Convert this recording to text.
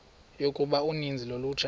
yokuba uninzi lolutsha